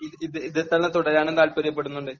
ഇതിൽ തന്നെ തുടരാനും താല്പര്യപ്പെടുന്നുണ്ട്.